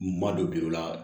Ma don bi o la